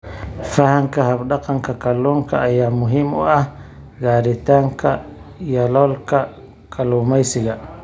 Fahamka hab-dhaqanka kalluunka ayaa muhiim u ah gaaritaanka yoolalka kalluumaysiga.